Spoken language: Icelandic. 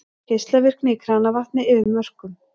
Geislavirkni í kranavatni yfir mörkum